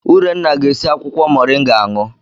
Urenna ga-esi akwụkwọ Moringa aṅụ.